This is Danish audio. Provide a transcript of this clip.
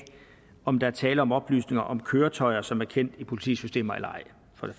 om der er tale om oplysninger om køretøjer som er kendt i politiets systemer eller ej